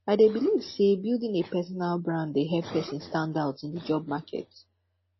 i dey believe say building a personal brand dey help person stand out in di job market